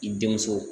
I denmuso